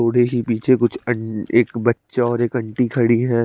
बुरी सी पीछे कुछ अड़ एक बच्चा और एक एंटी खड़ी है।